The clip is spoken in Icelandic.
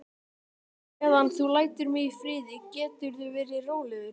Meðan þú lætur mig í friði geturðu verið rólegur.